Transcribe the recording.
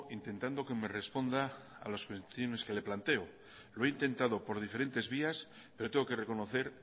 intentando que me responda a los boletines que le planteo lo he intentado por diferentes vías pero tengo que reconocer